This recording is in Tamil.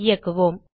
இயக்குவோம்